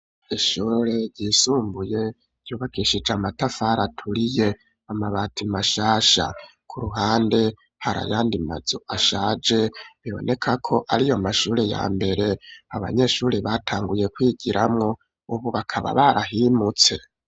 Ishure ryisumbuye, ryubakishije amatafari, aturiye, amabati mashasha; ku ruhande, hari ayandi mazu, ashaje, biboneka ko, ari yo mashure, ya mbere, abanyeshure, batanguye kwigiramwo, ubu bakaba, barahimutse.